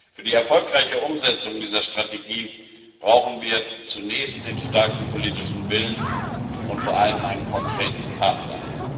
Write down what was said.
Für die erfolgreiche Umsetzung dieser Strategie brauchen wir zunächst den starken politischen Willen und vor allem einen konkreten Fahrplan.